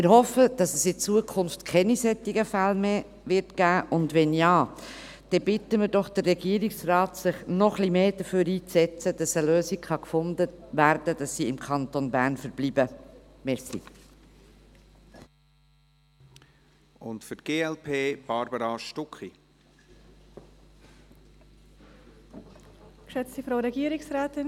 Wir hoffen, dass es in Zukunft keine solchen Fälle mehr geben wird, und wenn ja, dann bitten wir doch den Regierungsrat, sich noch etwas mehr dafür einzusetzen, dass eine Lösung gefunden wird, damit sie im Kanton Bern verbleiben können.